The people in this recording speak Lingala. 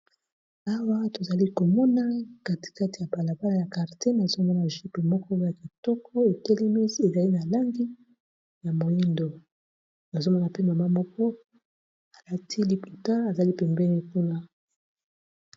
awa tozali komona katikati ya balabala ya karte nazomona jupe moko o ya kitoko ezali na langi ya moindo nazomona pe mama moko alati liputa azali pembeni .